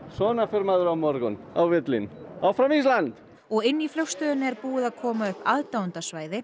svona fer maður á morgun áfram Ísland og inni í flugstöðinni er búið að koma upp